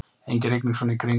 engin rigning svona í kring